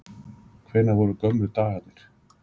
Hvenær voru gömlu dagarnir?